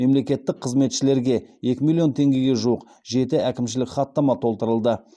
мемлекеттік қызметшілерге екі миллион теңгеге жуық жеті әкімшілік хаттама толтырылды